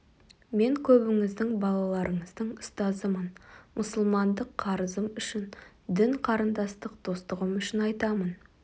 мен көбіңіздің балаларыңыздың ұстазымын мұсылмандық қарызым үшін дін қарындастық достығым үшін айтамын